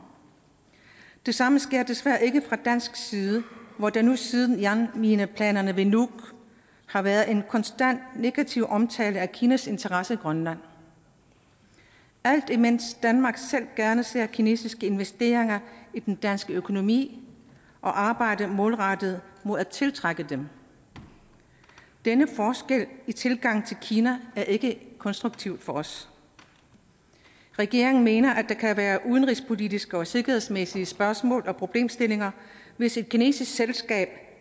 det samme sker desværre ikke fra dansk side hvor der nu siden jernmineplanerne ved nuuk har været en konstant negativ omtale af kinas interesse i grønland alt imens danmark selv gerne ser kinesiske investeringer i den danske økonomi og arbejder målrettet på at tiltrække dem denne forskel i tilgangen til kina er ikke konstruktiv for os regeringen mener at der kan være udenrigspolitiske og sikkerhedsmæssige spørgsmål og problemstillinger hvis et kinesisk selskab